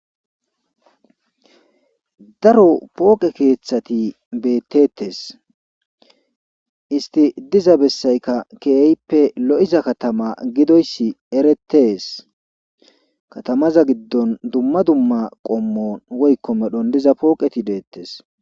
daro pooqe keeththati beettetes isti diza bessayka keeyippe lo7iza katama gidoyssi eretees katamaza giddon dumma dumma qommon woykko medhon diza pooqeti deettes